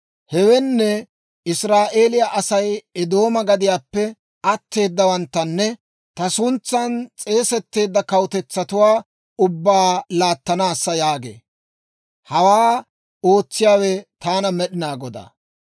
Hewenne Israa'eeliyaa Asay Eedooma gadiyaappe atteedawanttanne ta suntsan s'eesetteedda kawutetsatuwaa ubbaa laattanaassa» yaagee. Hawaa ootsiyaawe taana Med'inaa Godaa.